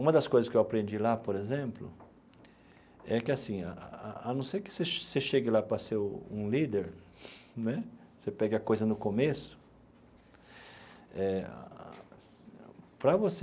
Uma das coisas que eu aprendi lá, por exemplo, é que assim, a não ser que você você chegue lá para ser um líder né, você pega a coisa no começo, eh para você